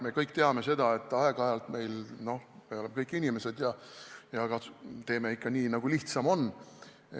Me ju teame, et aeg-ajalt me – no me kõik oleme inimesed – teeme ikka nii, nagu lihtsam on.